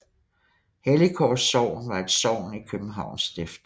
Helligkors Sogn var et sogn i Københavns Stift